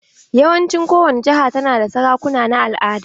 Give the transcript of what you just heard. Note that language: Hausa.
Yawancin kowani jihar ta na da sarakuna na al'ada.